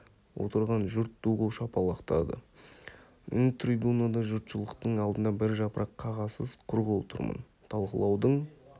отырған жұрт ду қол шапалақтады мен трибунада жұртшылықтың алдында бір жапырақ қағазсыз құр қол тұрмын талқылаудың